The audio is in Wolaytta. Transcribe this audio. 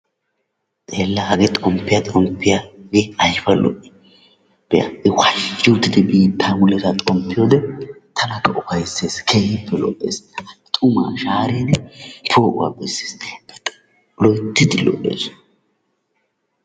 Xeella! hage xomppiya xomppiyaa I aybba lo"i be'a I waazhzhi oottidi xomppiyoode tanakka ufayssees, keehippe lo''ees. I xuma shaaridi poo'uwa beesses, loyttidi lo''ees.